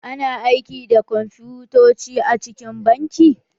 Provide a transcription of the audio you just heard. A na aiki da kwamfutoci a cikin banki.